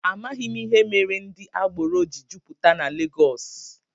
Amaghị m ihe mere ndị agbero ji jupụta na Legọs